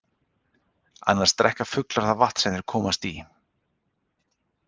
Annars drekka fuglar það vatn sem þeir komast í.